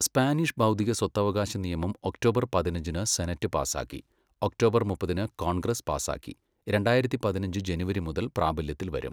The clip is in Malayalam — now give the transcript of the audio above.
സ്പാനിഷ് ബൗദ്ധിക സ്വത്തവകാശ നിയമം ഒക്ടോബർ പതിനഞ്ചിന് സെനറ്റ് പാസാക്കി, ഒക്ടോബർ മുപ്പതിന് കോൺഗ്രസ് പാസാക്കി, രണ്ടായിരത്തി പതിനഞ്ച് ജനുവരി മുതൽ പ്രാബല്യത്തിൽ വരും.